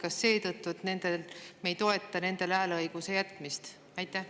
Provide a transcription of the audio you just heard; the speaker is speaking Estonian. Kas seetõttu, et me ei toeta nendele hääleõiguse jätmist?